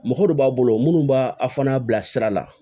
Mɔgɔ dɔ b'a bolo minnu b'a a fana bilasira